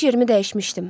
İş yerimi dəyişmişdim.